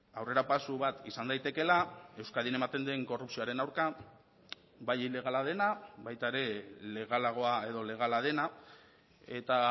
aurrerapauso bat izan daitekeela euskadin ematen den korrupzioaren aurka bai ilegala dena baita ere legalagoa edo legala dena eta